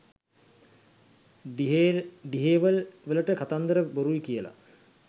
ඩ්හේවල් වලට කතන්දර බොරුයි කියල